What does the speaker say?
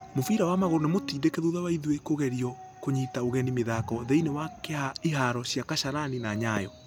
Mũbira wa magũrũ nĩ mũtindĩke thutha wa ithuĩ kũgirio kũnyita ũgeni mĩthako thĩini wa iharo cia kasarani na nyayo.